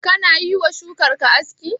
Kana yiwa shukar ka aski?